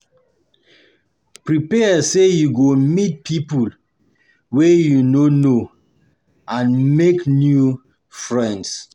Prepare say you go meet pipo wey you no know amd make new friends